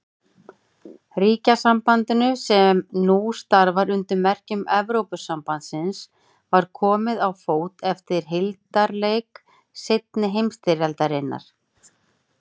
Ríkjasambandinu, sem nú starfar undir merkjum Evrópusambandsins, var komið á fót eftir hildarleik seinni heimsstyrjaldar.